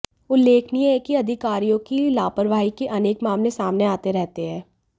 उल्लेखनीय है कि अधिकारियों की लापरवाही के अनेक मामले सामने आते रहते हैं